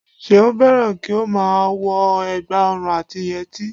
Seun fẹ́ràn kí ó má a wo ẹ̀gbà ọrùn àti yẹtí